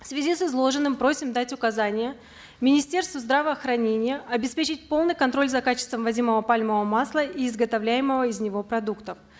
в связи с изложенным просим дать указания министерству здравоохранения обеспечить полный контроль за качеством ввозимого пальмового масла и изготовляемого из него продукта